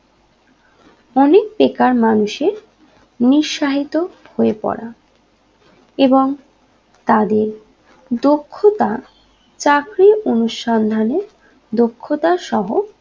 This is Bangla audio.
অনেক বেকার মানুষের নিরসাহিত হয়ে পড়া এবং তাদের দক্ষতা চাকরী অনুসন্ধানে দক্ষতার সহ